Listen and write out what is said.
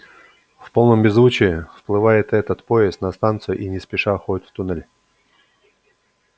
в полном беззвучии вплывает этот поезд на станцию и не спеша уходит в туннель